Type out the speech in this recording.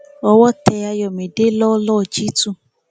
ọ́wọ́ tẹ àyọmídé lọlọọ jí tu